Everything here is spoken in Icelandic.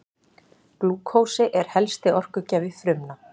Glúkósi er helsti orkugjafi frumna.